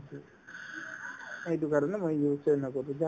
এইটো কাৰণে মই use য়ে নকৰো যাহ্